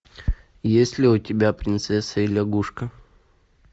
есть ли у тебя принцесса и лягушка